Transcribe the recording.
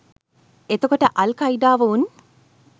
එතකොට අල් කයිඩාව උන්